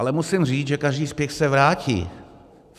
Ale musím říct, že každý spěch se vrátí.